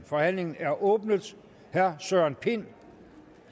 forhandlingen er åbnet herre søren pind